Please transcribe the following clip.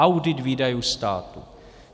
Audit výdajů státu.